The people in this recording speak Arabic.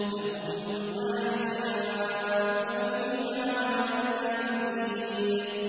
لَهُم مَّا يَشَاءُونَ فِيهَا وَلَدَيْنَا مَزِيدٌ